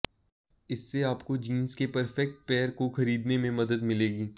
इससे आप को जींस के परफेक्ट पेयर को खरीदने में मदद मिलेगी